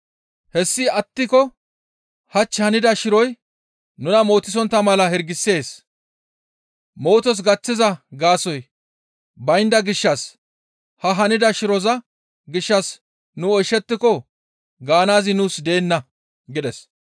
Hessi attiko hach hanida shiroy nuna mootisontta mala hirgisees; mootos gaththiza gaasoykka baynda gishshas ha hanida shiroza gishshas nu oyshettiko gaanaazi nuus deenna» gides.